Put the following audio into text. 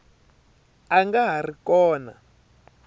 a nga ha ri kona